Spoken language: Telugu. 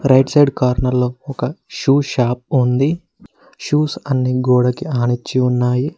రైట్ సైడ్ కార్నర్ లో ఒక షూ షాప్ ఉంది షూస్ అండ్ గోడకి అనించి ఉన్నాయి.